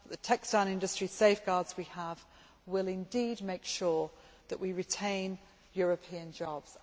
The textile industry safeguards that we have will indeed make sure that we retain European jobs.